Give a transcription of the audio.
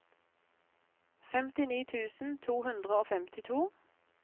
femtini tusen to hundre og femtito